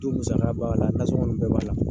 Du musaka b'a la nasɔnkɔn ninnu bɛɛ b'a la.